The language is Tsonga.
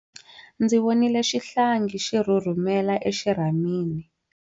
Ndzi vonile xihlangi xi rhurhumela exirhamini.